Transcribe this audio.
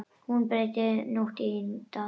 Hún breytti nótt í dag.